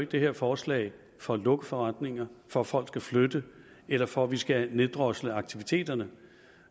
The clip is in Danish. det her forslag for at lukke forretninger for at folk skal flytte eller for at vi skal neddrosle aktiviteterne